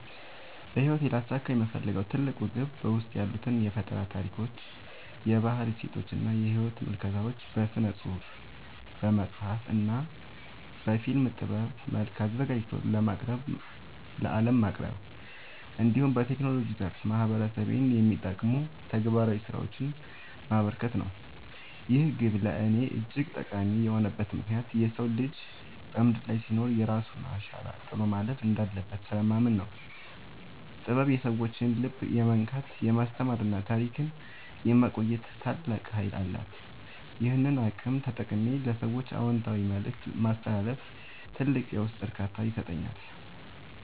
በሕይወቴ ሊያሳካው የምፈልገው ትልቁ ግብ በውስጤ ያሉትን የፈጠራ ታሪኮች፣ የባህል እሴቶችና የሕይወት ምልከታዎች በሥነ-ጽሑፍ (በመጽሐፍ) እና በፊልም ጥበብ መልክ አዘጋጅቶ ለዓለም ማቅረብ፣ እንዲሁም በቴክኖሎጂው ዘርፍ ማኅበረሰቤን የሚጠቅሙ ተግባራዊ ሥራዎችን ማበርከት ነው። ይህ ግብ ለእኔ እጅግ ጠቃሚ የሆነበት ምክንያት የሰው ልጅ በምድር ላይ ሲኖር የራሱን አሻራ ጥሎ ማለፍ እንዳለበት ስለማምን ነው። ጥበብ የሰዎችን ልብ የመንካት፣ የማስተማርና ታሪክን የማቆየት ታላቅ ኃይል አላት፤ ይህንን አቅም ተጠቅሜ ለሰዎች አዎንታዊ መልእክት ማስተላለፍ ትልቅ የውስጥ እርካታን ይሰጠኛል።